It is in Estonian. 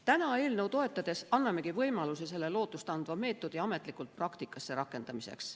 Täna eelnõu toetades annamegi võimaluse selle lootustandva meetodi ametlikult praktikasse rakendamiseks.